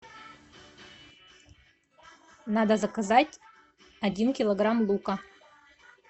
надо заказать один килограмм лука